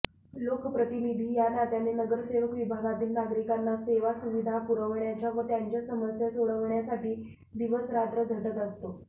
लोकप्रतिनिधी या नात्याने नगरसेवक विभागातील नागरिकांना सेवासुविधा पुरवण्याच्या व त्यांच्या समस्या सोडवण्यासाठी दिवसरात्र झटत असतो